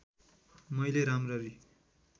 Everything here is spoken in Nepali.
मैले राम्ररी